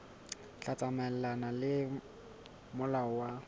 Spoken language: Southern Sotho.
tla tsamaelana le molao wa